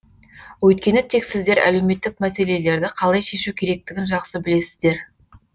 өйткені тек сіздер әлеуметтік мәселелерді қалай шешу керектігін жақсы білесіздер